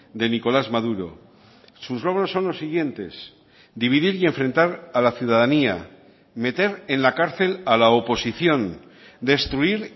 de nicolás maduro sus logros son los siguientes dividir y enfrentar a la ciudadanía meter en la cárcel a la oposición destruir